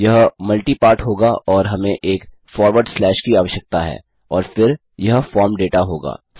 यह multi part होगा और हमें एक फॉरवर्ड स्लैश की आवश्यकता है और फिर यह फॉर्म दाता होगा